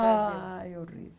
Ai, horrível.